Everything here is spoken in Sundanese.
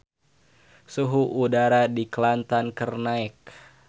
Suhu udara di Kelantan keur naek